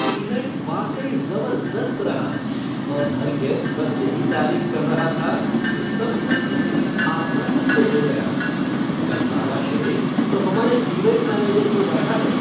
Event वाकई ज़बरदस्त रहा और हर गेस्ट बस यही तारीफ कर रहा था कि सब कुछ कितनी आसानी से हो गया, इसका सारा श्रेय तो हमारे इवेंट मैनेजर को जाता है।